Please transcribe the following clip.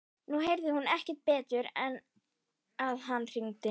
Nú heyrði hún ekki betur en að hann hringdi.